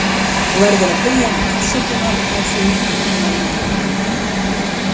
Þú verður að biðja hana afsökunar á því að hafa logið að henni.